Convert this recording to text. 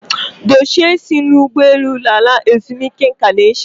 Dochie isi nri ụgbọ elu lara ezumike nka n'echi.